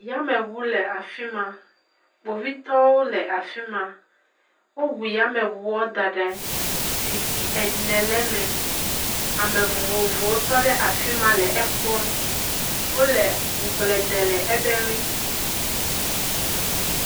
Yameŋu le afi ma. Kpovitɔwo le afi ma, woŋu yameŋua da ɖe anyi. Zikpui ene le eme, ame vovovowo tɔ ɖe afi ma le ekpɔm. Wole ŋugble dem le ebe ŋu.